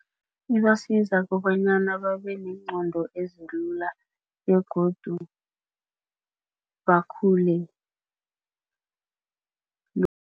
Ibasiza kobanyana babeneengqondo ezilula begodu bakhule